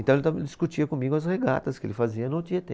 Então, ele também discutia comigo as regatas que ele fazia no Tietê.